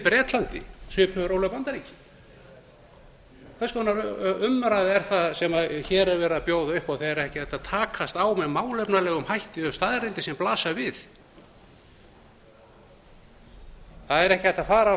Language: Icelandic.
bretlandi á svipuðu róli og bandaríkin hvers konar umræða er það sem verið er að bjóða upp á þegar ekki er hægt að takast á með málefnalegum hætti við staðreyndir sem blasa við það er ekki hægt að fara